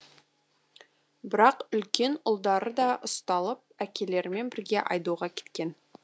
бірақ үлкен ұлдары да ұсталып әкелерімен бірге айдауға кеткен